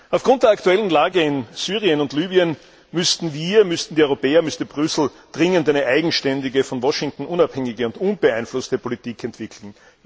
Aufgrund der aktuellen Lage in Syrien und Libyen müssten wir, müssten die Europäer, müsste Brüssel dringend eine eigenständige, von Washington unabhängige und unbeeinflusste Politik entwickeln.